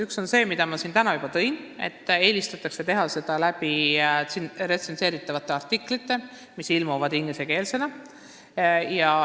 Üks on see, et töid eelistatakse teha retsenseeritavate artiklite kujul, mis ilmuvad ingliskeelsena.